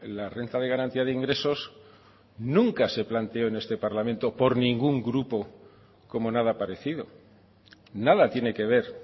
la renta de garantía de ingresos nunca se planteó en este parlamento por ningún grupo como nada parecido nada tiene que ver